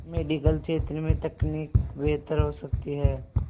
medical क्षेत्र में तकनीक बेहतर हो सकती है